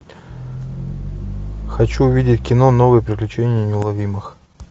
хочу увидеть кино новые приключения неуловимых